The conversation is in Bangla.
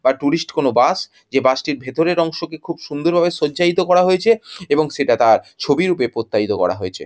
বার টুরিস্ট কোনো বাস যে বাস টির ভেতরের অংশকে খুব সুন্দর ভাবে সজ্জাইতো করা হয়েছে এবং সেটা তার ছবি রূপে প্রত্যাহিত করা হয়েছে।